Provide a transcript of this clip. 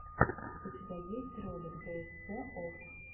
у тебя есть ролик дээсце офф